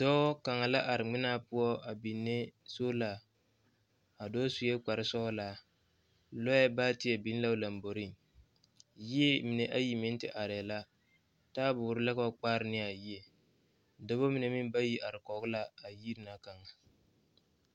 Dɔɔ kaŋa la are ŋmanaa poɔ a biŋe solar, a dɔɔ suɛ kpare sɔglo, lɔɛ baatie biŋ la o laŋ boɔre. yie mine ayi meŋ te are la, taayɛ bɔre la ka ba kpaare ne a yie. Dɔɔba mine meŋ bayi are kɔŋ la a yiri na kaŋ.